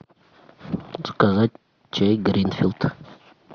заказать чай гринфилд